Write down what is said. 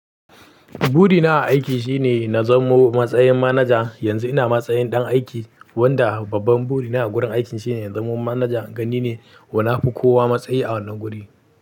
Burina a aiki shine na zamo matsayin manaja. Yanzu ina matsayin ɗan aiki, wanda babban buri na a gurin aikin shine na zamo manajan, in ga ni ne. Na fi kowa matsayi a wannan guri.